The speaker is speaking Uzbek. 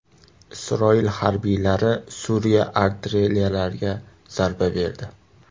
Isroil harbiylari Suriya artilleriyalariga zarba berdi.